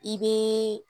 I bɛ